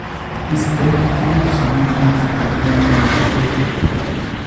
Iste tuguuk che mi kamastap ng'wony ne bo keetit.